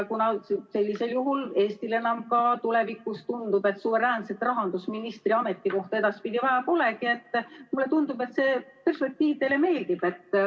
Sellisel juhul paistab, et Eestil tulevikus enam suveräänset rahandusministri ametikohta edaspidi vaja polegi, ja mulle tundub, et see perspektiiv teile meeldib.